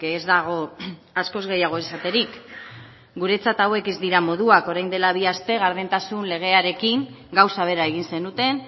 ez dago askoz gehiago esaterik guretzat hauek ez dira moduak orain dela bi aste gardentasun legearekin gauza bera egin zenuten